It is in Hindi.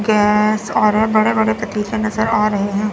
गैस और बड़े बड़े पतीले नजर आ रहे हैं।